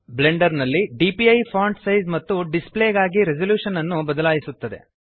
Blender ನಲ್ಲಿ DPI font size ಮತ್ತು display ಗಾಗಿ ರೆಸೆಲ್ಯೂಶನ್ ಅನ್ನು ಬದಲಾಯಿಸುತ್ತದೆ